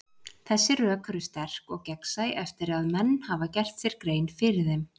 Þessi rök eru sterk og gegnsæ eftir að menn hafa gert sér grein fyrir þeim.